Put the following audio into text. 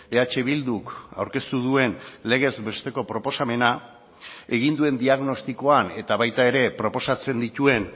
eh bilduk aurkeztu duen legez besteko proposamena egin duen diagnostikoan eta baita ere proposatzen dituen